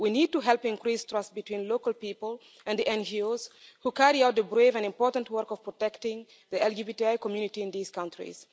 We need to help increase trust between local people and the NGOs who carry out the brave and important work of protecting the LGBTI community in these countries.